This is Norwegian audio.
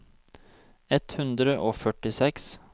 ett hundre og førtiseks